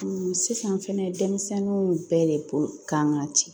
sisan fɛnɛ denmisɛnninw bɛɛ de bolo kan ka ci